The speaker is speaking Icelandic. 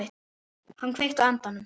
Hann kveikti andann.